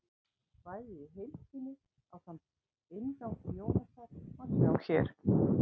Kvæðið í heild sinni, ásamt inngangi Jónasar, má sjá hér.